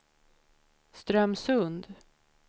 Strömsund